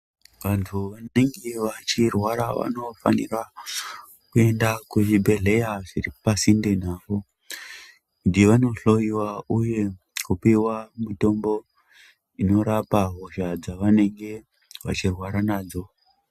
Vantu vanenge vachirwara vanofanira kuyenda kuchibhedhleya zviripasinde navo, kuti vanohloyiwa, uye kupiwa mitombo inorapa hosha dzavanenge vachirwara nadzo.